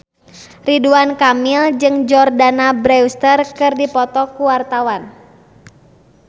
Ridwan Kamil jeung Jordana Brewster keur dipoto ku wartawan